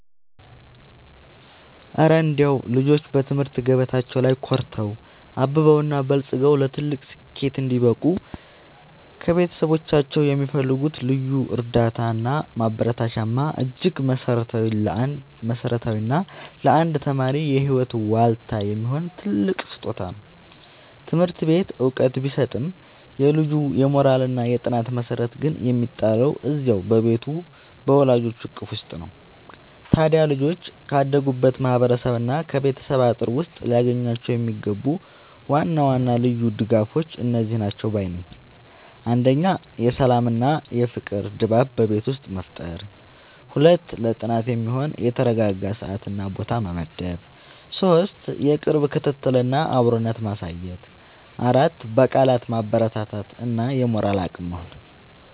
እረ እንደው ልጆች በትምህርት ገበታቸው ላይ ኮርተው፣ አብበውና በልጽገው ለትልቅ ስኬት እንዲበቁ ከቤተሰቦቻቸው የሚፈልጉት ልዩ እርዳታና ማበረታቻማ እጅግ መሠረታዊና ለአንድ ተማሪ የህይወት ዋልታ የሚሆን ትልቅ ስጦታ ነው! ትምህርት ቤት ዕውቀት ቢሰጥም፣ የልጁ የሞራልና የጥናት መሠረት ግን የሚጣለው እዚያው በቤቱ በወላጆቹ እቅፍ ውስጥ ነው። ታዲያ ልጆች ካደጉበት ማህበረሰብና ከቤተሰብ አጥር ውስጥ ሊያገኟቸው የሚገቡ ዋና ዋና ልዩ ድጋፎች እነዚህ ናቸው ባይ ነኝ፦ 1. የሰላምና የፍቅር ድባብ በቤት ውስጥ መፍጠር 2. ለጥናት የሚሆን የተረጋጋ ሰዓትና ቦታ መመደብ 3. የቅርብ ክትትልና አብሮነት ማሳየት 4. በቃላት ማበረታታት እና የሞራል አቅም መሆን